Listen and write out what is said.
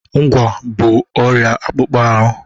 Ngwá bụ ọrịa akpụkpọ ahụ.